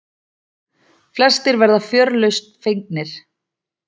Flestir verða fjörlausn fegnir.